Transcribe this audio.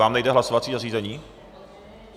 Vám nejde hlasovací zařízení?